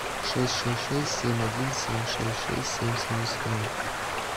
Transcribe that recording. шесть шесть шесть семь один семь шесть шесть семь семьдесят ноль